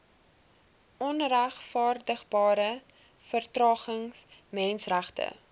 onregverdigbare vertragings menseregte